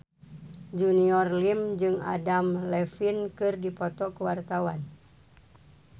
Junior Liem jeung Adam Levine keur dipoto ku wartawan